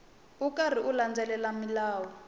ri karhi u landzelela milawu